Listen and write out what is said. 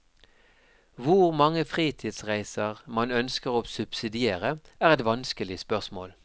Hvor mange fritidsreiser man ønsker å subsidiere, er et vanskelig spørsmål.